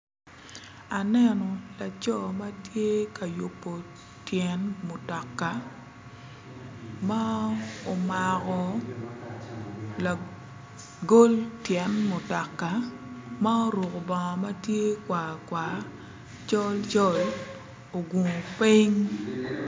Aneno laco matye ka yubo tyen mutoka ma omako lagol tyen mutoka ma oruko bongo matye kwar kwar colcol ogungo piny